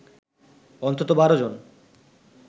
অন্তত ১২জন